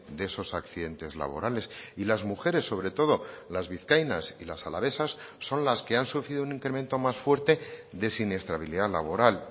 de esos accidentes laborales y las mujeres sobre todo las vizcaínas y las alavesas son las que han sufrido un incremento más fuerte de siniestralidad laboral